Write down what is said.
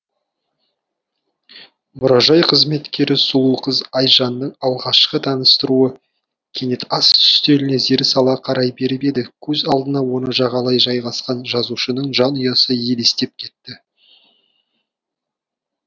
мұражай қызметкері сұлу қыз айжанның алғашқы таныстыруы кенет ас үстеліне зер сала қарай беріп еді көз алдына оны жағалай жайғасқан жазушының жанұясы елестеп кетті